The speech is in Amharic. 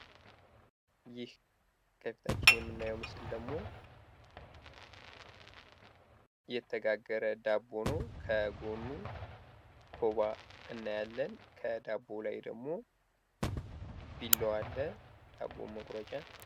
ይህ ከፊታችን የምናየው ምስል ደግሞ የተጋገረ ዳቦ ነው። ከጎኑ ኮባ እናያለን ከዳቦው ላይ ደግሞ ቢላዋ አለ ዳቦ መቁረጫ።